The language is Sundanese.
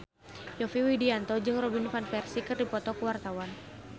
Yovie Widianto jeung Robin Van Persie keur dipoto ku wartawan